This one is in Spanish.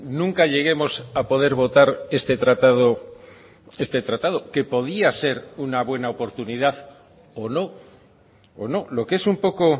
nunca lleguemos a poder votar este tratado este tratado que podía ser una buena oportunidad o no o no lo que es un poco